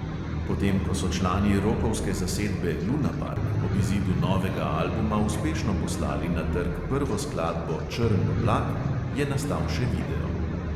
Potem ko so člani rokovske zasedbe lunapark ob izidu novega albuma uspešno poslali na trg prvo skladbo črn oblak, je nastal še video.